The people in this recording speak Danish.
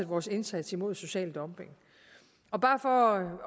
vores indsats mod social dumping og bare for at